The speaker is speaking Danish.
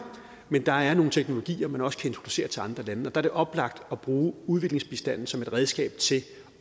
men der er nogle teknologier man også kan introducere til andre lande der er det oplagt at bruge udviklingsbistanden som et redskab til